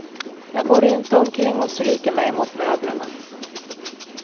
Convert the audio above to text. Jag går inte omkring och stryker mig mot möblerna.